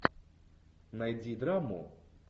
найди драму